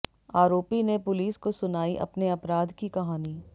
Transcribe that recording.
आरोपी ने पुलिस को सुनाई अपने अपराध की कहानी